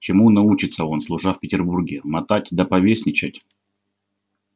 чему научится он служа в петербурге мотать да повесничать